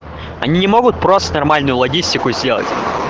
они не могут просто нормальную логистику сделать